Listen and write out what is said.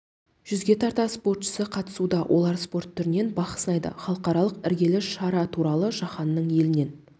жүзге тарта спортшысы қатысуда олар спорт түрінен бақ сынайды халықаралық іргелі шара туралы жаһанның елінен